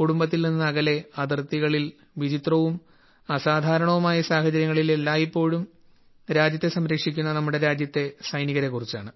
കുടുംബത്തിൽ നിന്ന് അകലെ അതിർത്തികളിൽ വിചിത്രവും അസാധാരണവുമായ സാഹചര്യങ്ങളിൽ എല്ലായ്പ്പോഴും രാജ്യത്തെ സംരക്ഷിക്കുന്ന നമ്മുടെ രാജ്യത്തെ സൈനികരെ കുറിച്ചാണ്